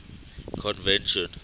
convention